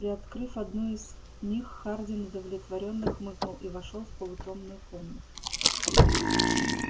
приоткрыв одну из них хардин удовлетворённо хмыкнул и вошёл в полутемную комнату